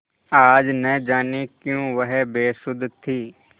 आज न जाने क्यों वह बेसुध थी